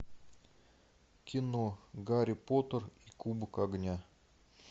кино гарри поттер и кубок огня